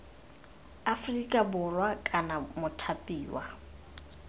aferika borwa kana c mothapiwa